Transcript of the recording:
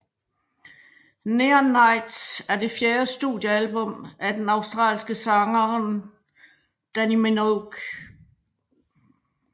Neon Nights er det fjerde studiealbum af den australske sangeren Dannii Minogue